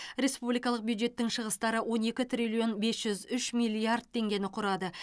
республикалық бюджеттің шығыстары он екі триллион бес жүз үш миллиард теңгені құрады